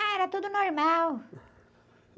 Ah, era tudo normal.